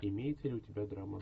имеется ли у тебя драма